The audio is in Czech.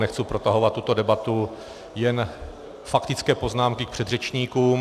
Nechci protahovat tuto debatu, jen faktické poznámky k předřečníkům.